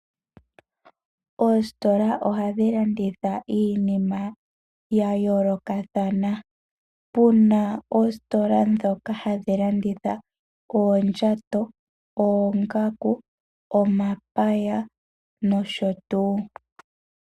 Oositola ohadhi landitha iinima ya yoolokathana. Opuna oositola ndhoka hadhi landitha oondjato, oongaku, omapaya nosho tuu.